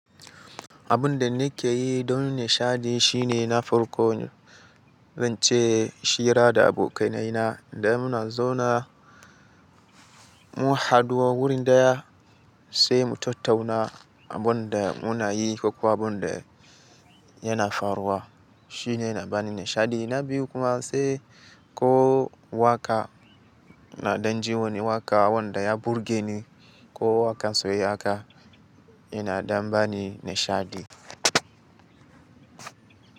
Abun da nake yi don nishaɗi shine na farko, zan ce hira da abokainaina da muna zauna, mu haɗu a wuri ɗaya sai mu tattauna abun da muna yi ko kuwa abun da yana faruwa. Shi ne yana bani nishaɗi. Na biyu kuma sai ko waƙa na ɗanji wani waƙa wanda ya burge ni ko waƙar soyayya haka yana ɗan bani nishaɗi.